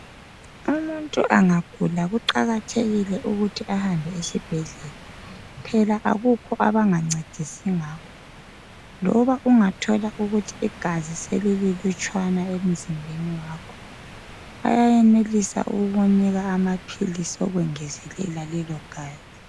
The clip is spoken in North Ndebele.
Umuntu angagula kuqakathekile ukuthi ahambe esibhedlela phela akukho abangancedisi ngakho, loba ungathola ukuthi igazi selililutshwana emzimbeni wakho, bayayenelisa ukukunika amaphilisi okwengezelela lelo gazi.